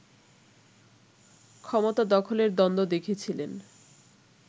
ক্ষমতা দখলের দ্বন্দ্ব দেখেছিলেন